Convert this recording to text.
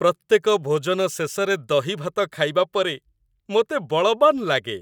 ପ୍ରତ୍ୟେକ ଭୋଜନ ଶେଷରେ ଦହିଭାତ ଖାଇବା ପରେ ମୋତେ ବଳବାନ୍ ଲାଗେ।